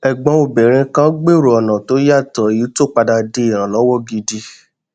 ẹgbọn obìnrin kan gbèrò ọnà tó yàtọ èyí tó padà di ìrànlọwọ gidi